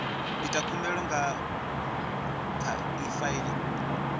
ita khumbelo nga kha efiling